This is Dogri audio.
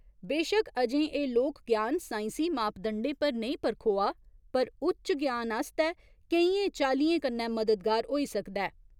बेशक अजें एह् लोक ज्ञान साइंसी मापदंडें पर नेईं परखोआ पर उच्च ज्ञान आस्तै केइयें चाल्लियें कन्नै मददगार होई सकदा ऐ।